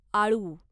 आळू